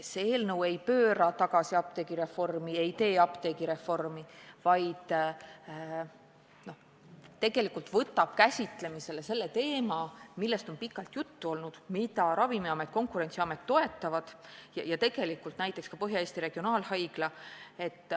See eelnõu ei pööra tagasi apteegireformi, ei tee apteegireformi, vaid võtab käsitlemisele teema, millest on pikalt juttu olnud ja mida Ravimiamet ja Konkurentsiamet toetavad ja tegelikult ka Põhja-Eesti Regionaalhaigla.